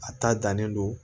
A ta dannen don